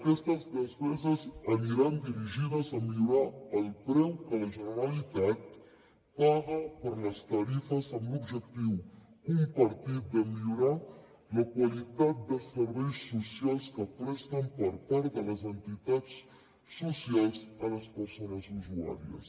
aquestes despeses aniran dirigides a millorar el preu que la generalitat paga per les tarifes amb l’objectiu compartit de millorar la qualitat de serveis socials que presten per part de les entitats socials a les persones usuàries